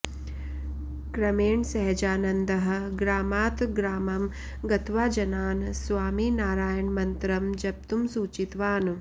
क्रमेण सहजानन्दः ग्रामात् ग्रामं गत्वा जनान् स्वामिनारायणमन्त्रं जप्तुम् सूचितवान्